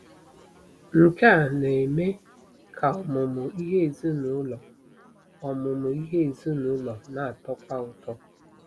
Nke a na-eme ka ọmụmụ ihe ezinụlọ ọmụmụ ihe ezinụlọ na-atọkwu ụtọ.